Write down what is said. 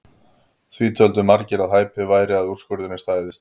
Því töldu margir að hæpið væri að úrskurðurinn stæðist.